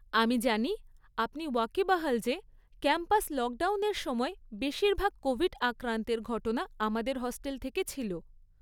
আমি জানি আপনি ওয়াকিবহাল যে ক্যাম্পাস লকডাউনের সময় বেশিরভাগ কোভিড আক্রান্তের ঘটনা আমাদের হস্টেল থেকে ছিল।